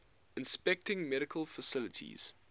inspecting medical facilities